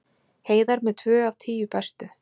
Heiðar með tvö af tíu bestu